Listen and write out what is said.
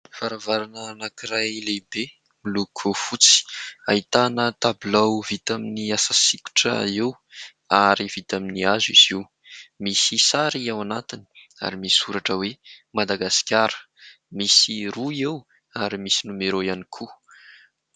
Varavarana anankiray lehibe miloko fotsy ; ahitana tabilao vita amin'ny asa sokitra eo ary vita amin'ny hazo izy io. Misy sary ao anatiny ary misy soratra hoe ''Madagasikara'', misy roa eo ary misy nimerô ihany koa.